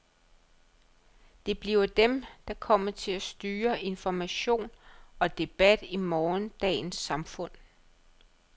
Det bliver dem, der kommer til at styre information og debat i morgendagens samfund.